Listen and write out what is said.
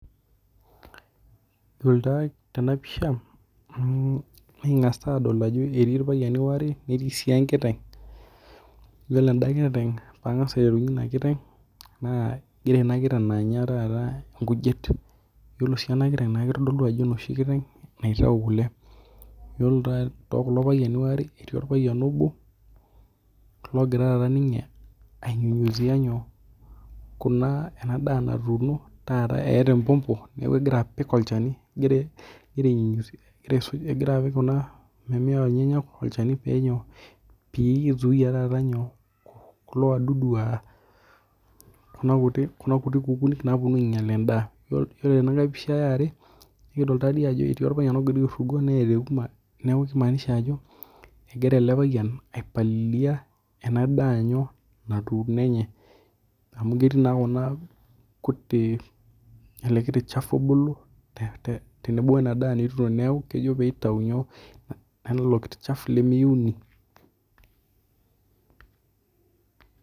Iyiolo tena pisha nikingas adol ajo etii irpayaiani ware neetii sii enkiteng' yiolo eda kiteng' pangas aiterunye edaa kiteng' naa egira inakitenganya taata inkujit. Iyiolo ena kiteng' naa kitodolu ano onoshi kiteng' naitayu kule. Yiolo too kulo payiank ware etii orpayian obo logira taata ninye ai nyunyuzia nyoo kuna ena daa ntuno etaa embumbu eneeku egora apik olchani egira apik kuna mimea enyenak olchani pee nyoo pee zuaia taata nyoo kulo wadudu aa kuna kuti kukunik napuonu ainyal endaa. Yiolo tenankai pisha ee are nikidol taadi ajo etii orpayian ogira aitashe neeta euama neeku kimaansisha ajo egira ele payian ai palili kuna ena daa natuno enye amu keetii ele kiti shafu obulu tenebo na kejo piatayu nyoo? Ilokiti chafu lemeyouni.